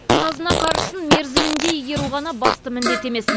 қазына қаржысын мерзімінде игеру ғана басты міндет емес